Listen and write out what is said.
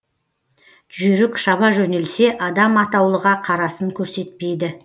жүйрік шаба жөнелсе адам атаулыға қарасын көрсетпейді